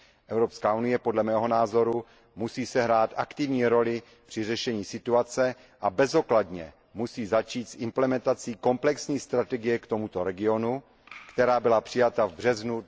Evropská unie podle mého názoru musí sehrát aktivní roli při řešení situace a bezodkladně musí začít s implementací komplexní strategie k tomuto regionu, která byla přijata v březnu